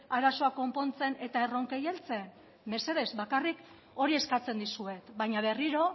arazoa konpontzen eta erronkei heltzen mesedez bakarrik hori eskatzen dizuet baina berriro